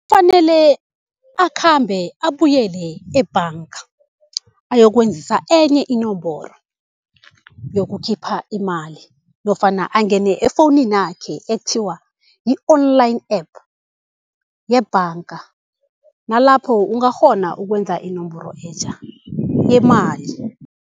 Kufanele akhambe abuyele ebhanga ayokwenzisa enye inomboro yokukhipha imali. Nofana angene efowuninakhe ekuthiwa yi-online app yebhanga. Nalapho ungakghona ukwenza inomboro etjha yemali.